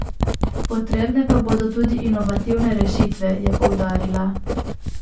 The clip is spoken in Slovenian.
Potrebne pa bodo tudi inovativne rešitve, je poudarila.